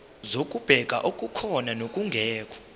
zokubheka okukhona nokungekho